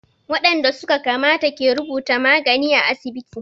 Waɗanda su ka kamata ke rubuta magani à asibiti.